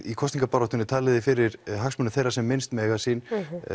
í kosningabaráttunni talið þið fyrir hagsmunum þeirra sem minnst mega sín